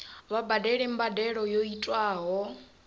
vha badele mbadelo yo tiwaho